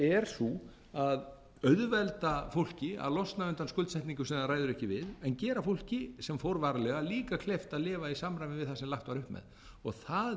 sé sú að auðvelda fólki að losna undan skuldsetningu sem það ræður ekki við en gera fólki sem fór varlega líka kleift að lifa í samræmi við það sem lagt var upp með það